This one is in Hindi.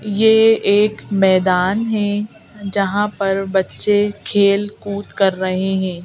यह एक मैदान है जहां पर बच्चे खेलकूद कर रहे हैं।